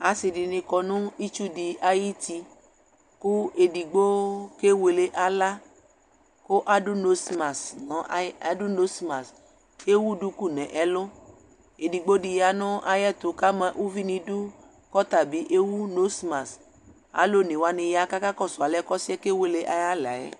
Asɩ dɩnɩ kɔ nʋ itsu dɩ ayuti, kʋ edigbo kewele aɣla, kʋ adʋ nosmas ewu duku nʋ ɛlʋ, edigbo dɩ ya nʋ ayʋ ɛtʋ kʋ ama uvi nʋ idu, kʋ ɔta bɩ ewu nosmas, alʋ one wanɩ ya kʋ akakɔsʋ alɛ ɔsɩ yɛ kewele ayʋ aɣla yɛ